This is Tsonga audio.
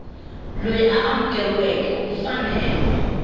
loyi a amukeriweke u fanele